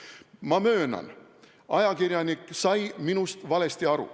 Ma möönan, et ajakirjanik sai minust valesti aru.